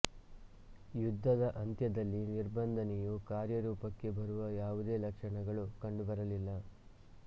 ಯುದ್ಧದ ಅಂತ್ಯದಲ್ಲಿ ನಿಬಂಧನೆಯು ಕಾರ್ಯರೂಪಕ್ಕೆ ಬರುವ ಯಾವುದೇ ಲಕ್ಷಣಗಳು ಕಂಡುಬರಲಿಲ್ಲ